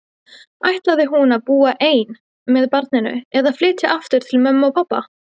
Ætlaði hún að búa ein með barninu, eða flytja aftur heim til mömmu og pabba?